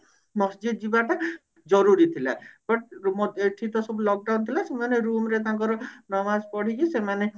ମସଜିତ ଯିବାଟା ଜରୁରୀ ଥିଲା but ଏଠି ତ ସବୁ lockdown ଥିଲା ସେମାନେ room ରେ ତାଙ୍କର ନମାଜ ପଢିକି ସେମାନେ